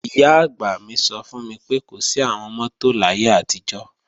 Ìyá-àgbà mi sọ fún mi pé, kò sí àwọn mọ́tò láyé àtijọ́